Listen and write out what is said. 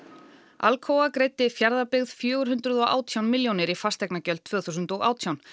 Alcoa greiddi Fjarðabyggð fjögur hundruð og átján milljónir í fasteignagjöld tvö þúsund og átján